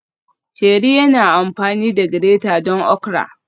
Sheri yana amfani da grater don okra